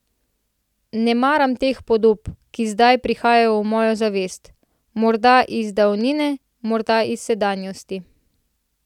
Ne maram teh podob, ki zdaj prihajajo v mojo zavest, morda iz davnine, morda iz sedanjosti.